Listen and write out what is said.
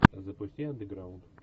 запусти андеграунд